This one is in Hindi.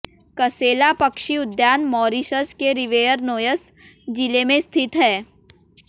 कसेला पक्षी उद्यान मॉरिशस के रिवेयर नोयस जिले में स्थित है